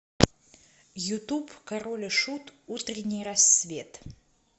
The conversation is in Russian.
ютуб король и шут утренний рассвет